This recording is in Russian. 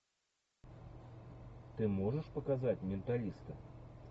ты можешь показать менталиста